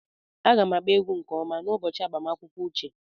Aga m agba egwu nke ọma n'ụbọchị agbamakwụkwọ uche.